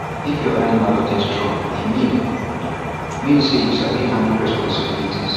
if your animals dey strong e mean mean say you sabi handle responsibility